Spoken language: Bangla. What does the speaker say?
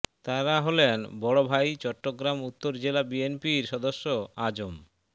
তাঁরা হলেন বড় ভাই চট্টগ্রাম উত্তর জেলা বিএনপির সদস্য আজম